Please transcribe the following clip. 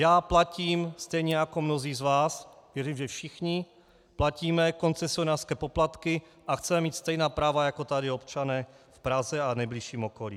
Já platím, stejně jako mnozí z vás, věřím, že všichni platíme, koncesionářské poplatky a chceme mít stejná práva jako tady občané v Praze a nejbližším okolí.